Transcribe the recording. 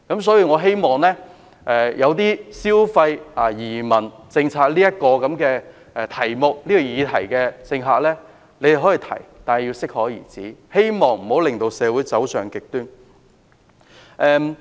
所以，政客可以消費移民政策這個議題，但要適可而止，不要令社會走上極端。